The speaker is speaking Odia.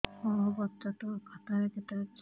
ମୋ ବଚତ ଖାତା ରେ କେତେ ଅଛି